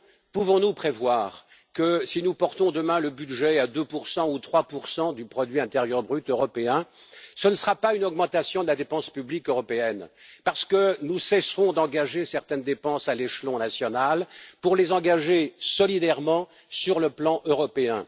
Pouvons nous prévoir que, si nous portons demain le budget à 2 ou 3 du produit intérieur brut européen, il ne s'agira pas d'une augmentation de la dépense publique européenne, parce que nous cesserons d'engager certaines dépenses à l'échelon national pour les engager solidairement sur le plan européen?